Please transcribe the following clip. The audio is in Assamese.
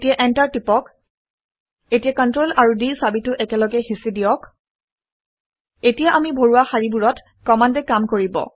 এতিয়া এন্টাৰটো হেঁচি দিয়ক। এতিয়া Ctrl আৰু d চাবিটো একেলগে হেঁচি দিয়ক এতিয়া আমি ভৰোৱা শাৰীবোৰত কমাণ্ডে কাম কৰিব